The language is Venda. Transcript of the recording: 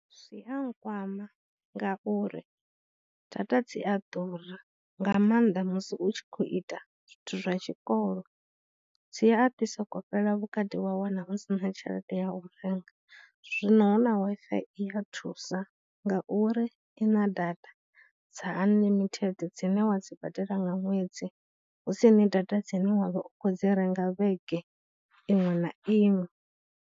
Zwi a nkwama ngauri data dzi a ḓura, nga maanḓa musi u tshi khou ita zwithu zwa tshikolo. Dzi a ḓi soko fhela vhukati wa wana u sina tshelede ya u renga, zwino hu na W_I_F_I i ya thusa ngauri ina data dza unlimited dzine wa dzi badela nga ṅwedzi, husini data dzine wa vha u khou dzi renga vhege iṅwe na iṅwe.